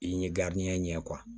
I ye ɲɛ